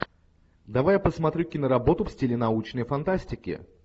давай я посмотрю киноработу в стиле научной фантастики